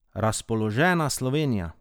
Razpoložena Slovenija.